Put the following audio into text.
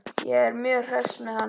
Ég er mjög hress með hann.